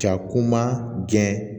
Ja kuma gɛn